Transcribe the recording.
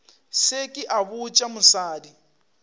se ke a botša mosadi